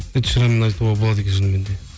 эдшеранды айтуға болады екен шынымен де